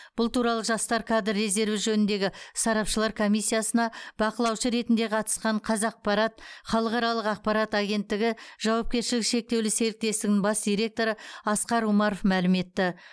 бұл туралы жастар кадр резерві жөніндегі сарапшылар комиссиясына бақылаушы ретінде қатысқан қазақпарат халықаралық ақпарат агенттігі жауапкершілігі шектеулі серіктестігінің бас директоры асқар умаров мәлім етті